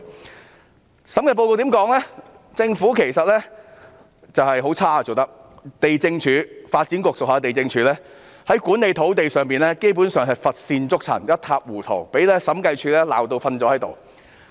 該審計報告指出，政府其實做得十分差勁，發展局轄下地政總署的土地管理基本上乏善足陳、一塌糊塗，被審計處批評至體無完膚。